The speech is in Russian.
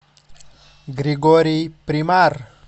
григорий примар